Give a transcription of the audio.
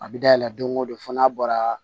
A bɛ dayɛlɛ don ko don fo n'a bɔra